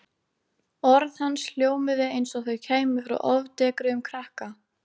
Orð hans hljómuðu eins og þau kæmu frá ofdekruðum krakka.